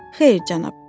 Xeyr, cənab.